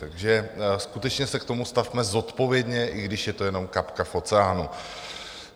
Takže skutečně se k tomu stavme zodpovědně, i když je to jenom kapka v oceánu.